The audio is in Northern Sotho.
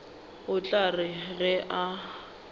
o tla re ge a